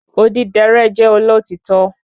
Odidẹrẹ́ jẹ́ olotitọ